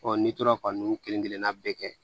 n'i tora ka ninnu kelen kelenna bɛɛ kɛ